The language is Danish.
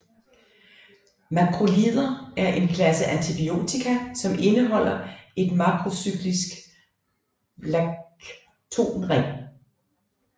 Makrolider er en klasse antibiotika som indeholder en makrocyklisk lactonring